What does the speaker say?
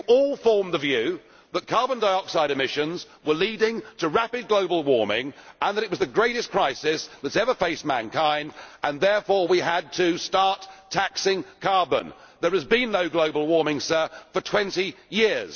You all formed the view that carbon dioxide emissions were leading to rapid global warming and that it was the greatest crisis that has ever faced mankind, and therefore we had to start taxing carbon. There has been no global warming, Sir, for twenty years.